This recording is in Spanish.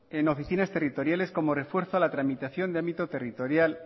en oficinas territoriales como refuerzo a la tramitación de ámbito territorial